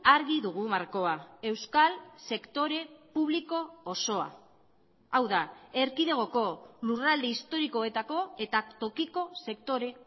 argi dugu markoa euskal sektore publiko osoa hau da erkidegoko lurralde historikoetako eta tokiko sektore